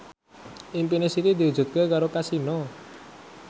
impine Siti diwujudke karo Kasino